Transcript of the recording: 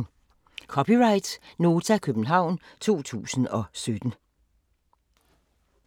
(c) Nota, København 2017